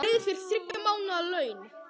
Ég greiði þér þriggja mánaða laun.